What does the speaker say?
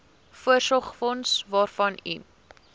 voorsorgsfonds waarvan u